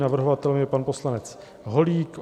Navrhovatelem je pan poslanec Holík.